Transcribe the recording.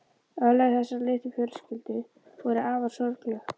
Örlög þessarar litlu fjölskyldu voru afar sorgleg.